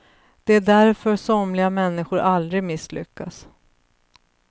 Det är därför somliga människor aldrig misslyckas.